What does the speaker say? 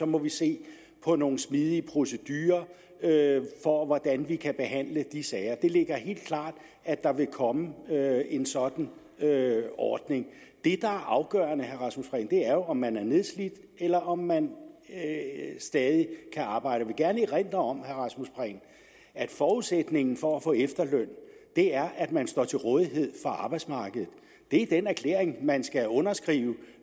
må se på nogle smidige procedurer for hvordan vi kan behandle de sager det ligger helt klart at der vil komme en sådan ordning det der er afgørende er jo om man er nedslidt eller om man stadig kan arbejde jeg vil gerne erindre om at forudsætningen for at få efterløn er at man står til rådighed for arbejdsmarkedet det er den erklæring man skal underskrive